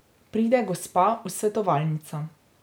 Pride gospa v svetovalnico.